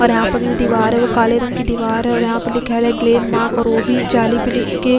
और यहां पर जो दीवार है वो काले रंग की दीवार है और यहां पर लिखा है ग्लेनमार्क और वो भी जाली पे लिख के --